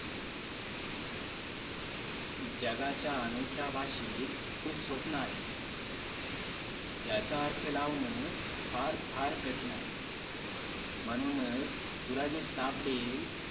जगाच्या अनोख्या भाषेत खूप स्वप्न आहे त्याचा अर्थ लावणे फार फार कठीण आहे म्हणूनच तुला जे सापडेल